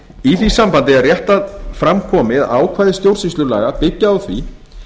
í því sambandi er rétt að fram komi að ákvæði stjórnsýslulaga byggi á því